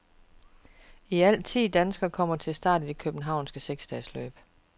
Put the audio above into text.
I alt ti danskere kommer til start i det københavnske seksdagesløb.